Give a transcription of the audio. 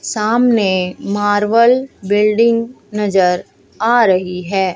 सामने marble building नजर आ रही है।